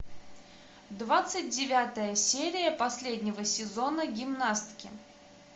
двадцать девятая серия последнего сезона гимнастки